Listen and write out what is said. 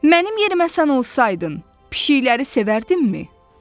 Mənim yerimə sən olsaydın, pişiklərə sevərdimmi?